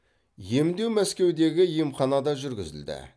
емдеу мәскеудегі емханада жүргізілді